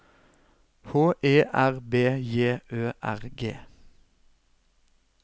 H E R B J Ø R G